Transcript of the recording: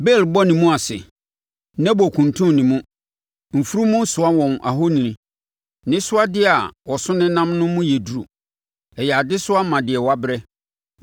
Bel bɔ ne mu ase, Nebo kuntun ne mu; mfunumu soa wɔn ahoni. Nsɛsodeɛ a wɔso nenam no mu yɛ duru, ɛyɛ adesoa ma deɛ wabrɛ.